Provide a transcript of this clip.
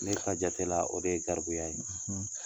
Ne ka jate la o de ye garibuya ye.